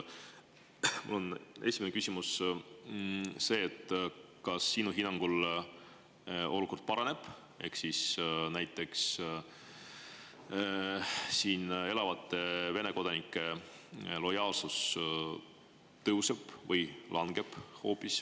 Mul on esimene küsimus see, et kas sinu hinnangul olukord paraneb ehk siis siin elavate Vene kodanike lojaalsus tõuseb või hoopis langeb.